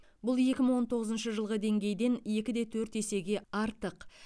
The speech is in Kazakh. бұл екі мың он тоғызыншы жылғы деңгейден екі де төрт есеге артық